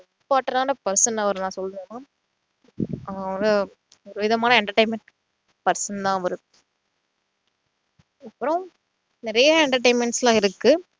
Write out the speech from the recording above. important ஆனா person னு நான் அவர சொல்லணும் அவரு ஒரு விதமான entertainment person தான் அவரு அப்புறம் நிறைய entertainments லாம் இருக்கு